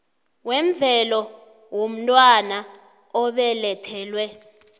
wemvelo womntwana obelethelwe